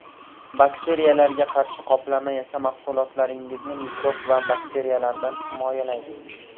Bakteriyalarga qarshi qoplama esa mahsulotlaringizni mikrob va bakteriyalardan himoyalaydi.